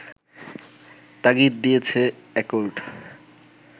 তাগিদ দিয়েছে অ্যাকর্ড